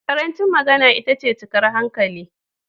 Ƙarancin magana itace cikar hankali.